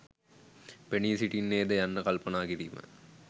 පෙනී සිටින්නේ ද යන්න කල්පනා කිරීම.